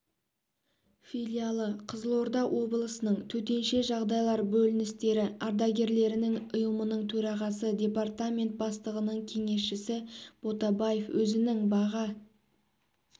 филиалы қызылорда облысының төтенше жағдайлар бөліністері ардагерлерінің ұйымының төрағасы департамент бастығының кеңесшісі ботабаев өзінің баға